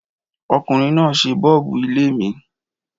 Ọkùnrin náà ṣe bọ́ọ́bú ilé mi.